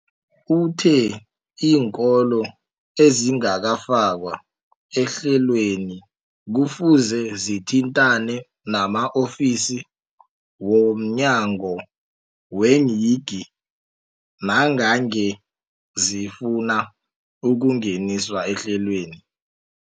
Uthe iinkolo ezingakafakwa ehlelweneli kufuze zithintane nama-ofisi wo mnyango weeyingi nangange zifuna ukungeniswa ehlelweni.